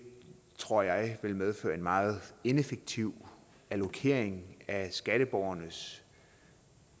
tror jeg vil medføre en meget ineffektiv allokering af skatteborgernes